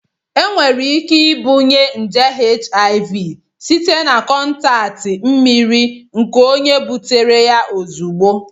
Enwere ike ibunye nje HIV site na kọntaktị mmiri nke onye butere ya ozugbo.